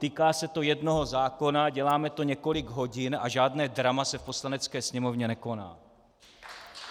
Týká se to jednoho zákona, děláme to několik hodin a žádné drama se v Poslanecké sněmovně nekoná.